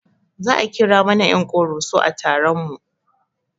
Za a kira mana ƴan ƙoroso a taron mu